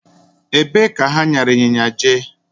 Ebe ka ha nyara ịnyịnya jee?